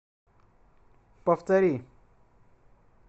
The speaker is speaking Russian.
повтори